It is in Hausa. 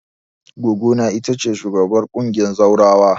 Goggona ita ce shugabar ƙungiyar zawarawan.